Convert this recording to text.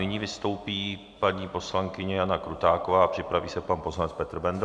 Nyní vystoupí paní poslankyně Jana Krutáková a připraví se pan poslanec Petr Bendl.